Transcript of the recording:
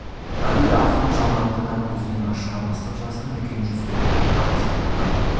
әуелі аһ ұрып жалын атты да көзінен ыршыған ыстық жасын үлкен жүзіне ағызып тұрды